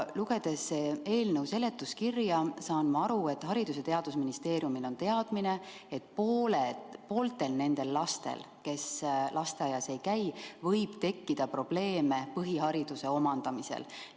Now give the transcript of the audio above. Lugedes eelnõu seletuskirja, saan ma aru, et Haridus- ja Teadusministeeriumil on teadmine, et pooltel nendel lastel, kes lasteaias ei käi, võib tekkida probleeme põhihariduse omandamisel.